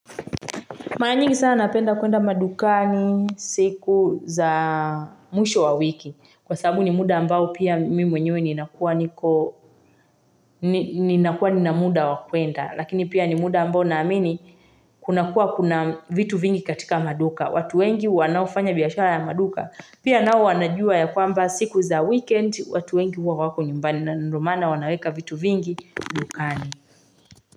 Mara nyingi sana napenda kuenda madukani siku za mwisho wa wiki. Kwa sababu ni muda ambao pia mimi mwenyewe ni nakuwa nina muda wa kwenda. Lakini pia ni muda ambao naamini kuna kuwa kuna vitu vingi katika maduka. Watu wengi wanaofanya biashara ya maduka. Pia nao wanajua ya kwamba siku za weekend watu wengi huwa hawako nyumbani. Na ndo maana wanaweka vitu vingi, madukani.